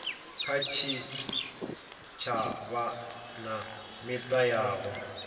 kha tshitshavha na mita yavho